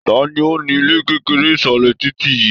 Tani ó ni ilé kekere isalẹ titi yìí?